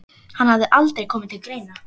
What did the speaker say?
Hann hafði aldrei komið til greina.